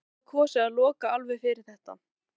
En sumir hafa kosið að loka alveg fyrir þetta.